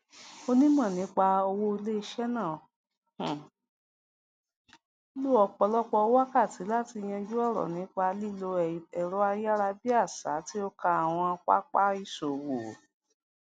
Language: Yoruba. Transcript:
onímọ nípa owó iléiṣẹ náà um lo ọpọlọpọ wákàtí láti yanjú ọrọ nípa lílo ẹrọayárabíàṣá tí ó kan àwọn pápá ìṣòwò